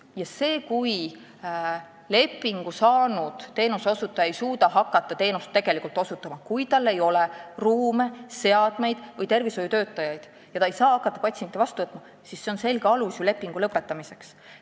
Ja see, kui lepingu saanud teenuseosutaja ei suuda tegelikult hakata teenust osutama, tal ei ole ruume, seadmeid või tervishoiutöötajaid ja ta ei saa hakata patsiente vastu võtma, on ju selge alus lepingu lõpetamiseks.